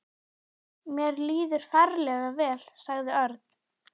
Mér líður ferlega vel, sagði Örn.